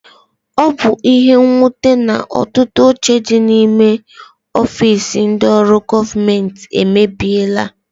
Ọ bu ihe nnwute na ọtụtụ oche dị n'ime ọfiisi ndị ọrụ gọọmenti emebiela.